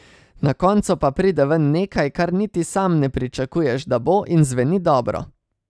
Na koncu pa pride ven nekaj, kar niti sam ne pričakuješ, da bo, in zveni dobro.